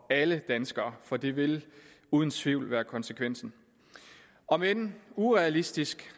alle danskere for det vil uden tvivl være konsekvensen om end urealistisk